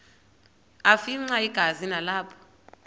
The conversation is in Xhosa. afimxa igazi nalapho